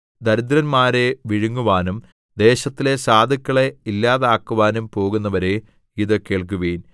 ദരിദ്രന്മാരെ വിഴുങ്ങുവാനും ദേശത്തിലെ സാധുക്കളെ ഇല്ലാതാക്കുവാനും പോകുന്നവരേ ഇത് കേൾക്കുവിൻ